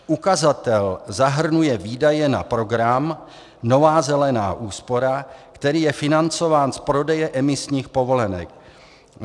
Ukazatel zahrnuje výdaje na program Nová zelená úspora, který je financován z prodeje emisních povolenek.